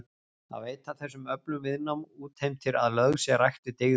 Að veita þessum öflum viðnám útheimtir að lögð sé rækt við dygðir.